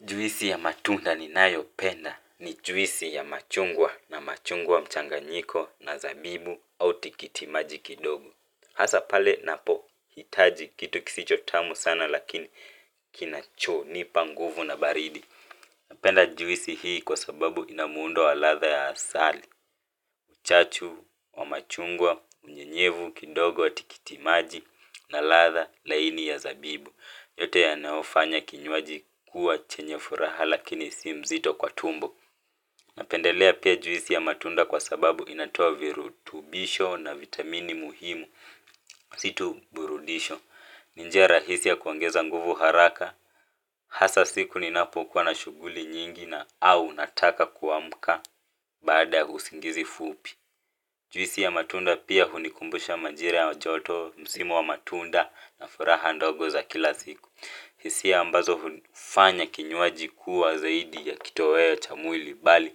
Juisi ya matunda ninayopenda ni juisi ya machungwa na machungwa mchanganyiko na zabibu au tikiti maji kidogo. Hasa pale ninapohitaji kitu kisichosi tamu sana lakini kinachonipa nguvu na baridi. Napenda juisi hii kwa sababu ina muundo wa ladha ya asali. Uchachu wa machungwa unyenyevu kidogo w atikiti maji na ladha laini ya zabibu. Yote yanaofanya kinywaji kuwa chenye furaha lakini si mzito kwa tumbo. Napendelea pia juisi ya matunda kwa sababu inatoa virutubisho na vitamini muhimu. Si tu burudisho. Ni njia rahisi ya kuongeza nguvu haraka. Hasa siku ninapokuwa na shughuli nyingi na au nataka kuamka. Baada ya usingizi fupi. Juisi ya matunda pia hunikumbusha majira ya joto msimu wa matunda na furaha ndogo za kila siku. Hisia ambazo hufanya kinyuaji kuwa zaidi ya kitoweo cha mwili bali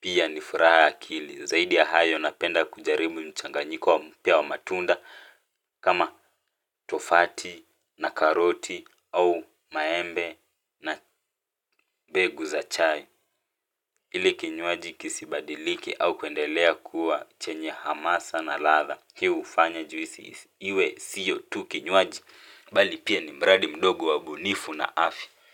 pia ni furaha ya akili. Zaidi ya hayo napenda kujaribu mchanganyiko wa mpya wa matunda kama tofati na karoti au maembe na mbegu za chai. Ili kinywaji kisibadilike au kuendelea kuwa chenye hamasa na ladha. Hii hufanya juisi iwe siyo tu kinywaji bali pia ni mradi mdogo wa ubunifu na afya.